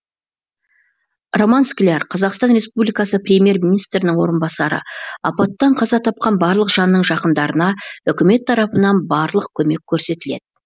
роман скляр қазақстан республикасы премьер министрінің орынбасары апаттан қаза тапқан барлық жанның жақындарына үкімет тарапынан барлық көмек көрсетіледі